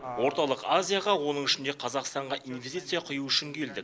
орталық азияға оның ішінде қазақстанға инвестиция құю үшін келдік